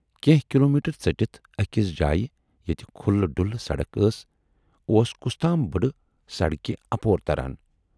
کینہہ کلوٗمیٹر ژٔٹِتھ ٲکِس جایہِ ییتہِ کھُلہِ ڈُلہِ سڑک ٲس اوس کُستام بُڈٕ سڑکہِ اپور تران۔